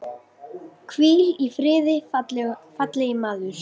Hvíl í friði, fallegi maður.